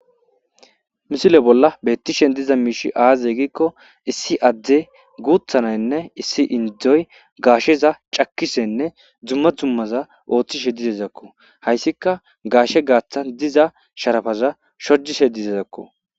Missile bolla betishe diza mishshey aze giko issi addey guththa na'ayinne issi indoy gashsheza cakishene dumm dummaza oththishe dizayssako hayssika gashshe gaththan diza sharapaza shodishe dizasako.